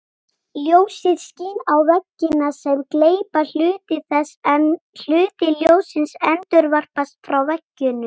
Ljósið skín á veggina sem gleypa hluta þess en hluti ljóssins endurvarpast frá veggjunum.